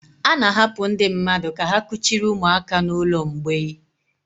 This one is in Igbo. A na-ahapụ ndị mmadụ ka ha kuchiri ụmụaka n'ụlọ mgbei.